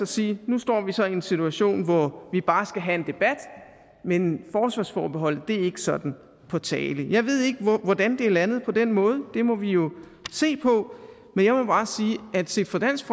sige at nu står vi så i en situation hvor vi bare skal have en debat men forsvarsforbeholdet ikke sådan på tale jeg ved ikke hvordan det er landet på den måde det må vi jo se på men jeg må bare sige at set fra dansk